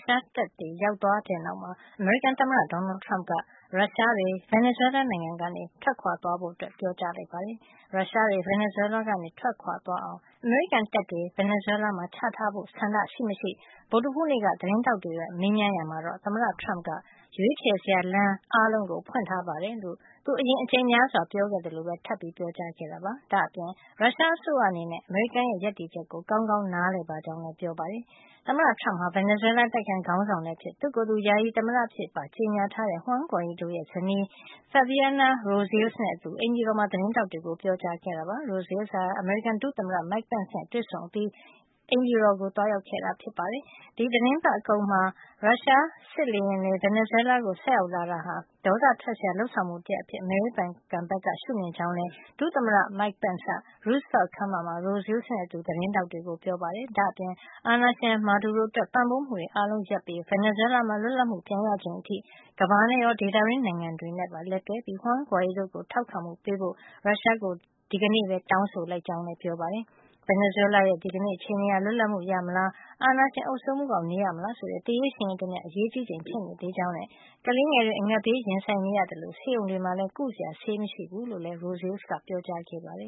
ရှားတပ်သားတွေ ရောက်သွားတဲ့နောက်မှာ အမေရိကန်သမ္မတ Donald Trump က ရုရှားတွေ ဗင်နီဇွဲလားနိုင်ငံကနေ ထွက်သွားဖို့ ပြောကြားလိုက်ပါတယ်။ ရုရှားတွေ ဗင်နီဇွဲလားကနေ ထွက်သွားအောင် အမေရိကန်တပ်တွေ ဗင်နီဇွဲလားမှာ ချထားဖို့ ဆန္ဒရှိ မရှိ ဗုဒ္ဓဟူးနေ့က သတင်းထောက်တွေက မေးမြန်းရာမှာတော့ သမ္မတ Trump က ရွေးချယ်စရာလမ်းအားလုံးကို ဖွင့်ထားတယ်လို့ သူအရင်အကြိမ်များစွာ ပြောခဲ့သလို ထပ်ပြောကြား ခဲ့တာပါ။ ဒါ့အပြင် ရုရှားအစိုးရ အနေနဲ့ အမေရိကန်ရဲ့ ရပ်တည်ချက်ကို ကောင်းကောင်း နားလည်ပါကြောင်းလည်း ပြောပါတယ်။ သမ္မတ Trump ဟာ ဗင်နီဇွဲလား အတိုက်အခံခေါင်းဆောင်လည်းဖြစ် သူ့ကိုယ်သူ ယာယီသမ္မတ အဖြစ်ပါ ကြေညာထားတဲ့ Juan Guaido ရဲ့ ဇနီး Fabiana Rosales နဲ့အတူ အိမ်ဖြူတော်မှာ သတင်းထောက်တွေကို ပြောကြားခဲ့တာ ဖြစ်ပါတယ်။ Rosales ဟာ အမေရိကန် ဒုသမ္မတ Mike Pence နဲ့ တွေ့ဆုံ အပြီးမှာ အိမ်ဖြူတော် Ovel ရုံးခန်းမှာ သမ္မတ Trump နဲ့ တွေ့ဆုံခဲ့တာ ဖြစ်ပါတယ်။ ဒီသီတင်းပတ်အကုန်မှာ ရုရှားစစ်လေယာဉ်တွေ ဗင်နီဇွဲလားကို ဆိုက်ရောက်လာတာဟာ ဒေါသထွက်စရာ လုပ်ဆောင်မှု တရပ်အဖြစ် အမေရိကန်ဘက်က ရှုမြင်ကြောင်းလည်း ဒုသမ္မတ Pence က Roosevelt ခန်းမထဲမှာ Rosales နဲ့အတူ သတင်းထောက်တွေကို ပြောပါတယ်။ ဒါ့အပြင် အာဏာရှင် Maduro အတွက် ပံ့ပိုးမှုတွေအားလုံး ရပ်ပစ်ပြီး ဗင်နီဇွဲလားမှာ လွတ်လပ်မှုပြန်ရချိန်အထိ ကမ္ဘာနဲ့ရော ဒေသတွင်းနိုင်ငံတွေနဲ့ပါ လက်တွဲပြီး Juan Guaido ကို ထောက်ခံမှု ပေးဖို့ ရုရှားကို ဒီကနေ့ပဲ တောင်းဆိုလိုက်ကြောင်းလည်း ပြောပါတယ်။ ဗင်နီဇွဲလားရဲ့ ဒီကနေ့ အခြေနေဟာ လွတ်လပ်မှု ရမလား၊ အာဏာရှင် အုပ်စိုးမှုအောက် နေရမလား ဆိုတဲ့ သေရေးရှင်ရေးတမျှ အရေးကြီးနေချိန် ဖြစ်ကြောင်းနဲ့ ကလေးငယ်တွေ အငတ်ဘေးနဲ့ ရင်ဆိုင်နေရကြောင်းနဲ့ ဆေးရုံတွေမှာလည်း ကုစရာ ဆေးမရှိကြောင်း Rosales ကပြောကြားခဲ့ပါတယ